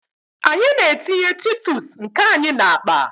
Anyị na-etinye titus nke anyị n'akpa.